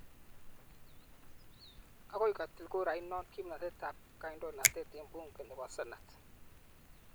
Agoi kotil kurainot kimnatet ab kandoinatet eng bunge ne bo ssenet.